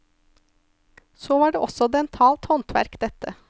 Så var det også dentalt håndverk dette.